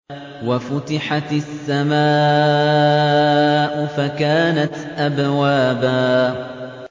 وَفُتِحَتِ السَّمَاءُ فَكَانَتْ أَبْوَابًا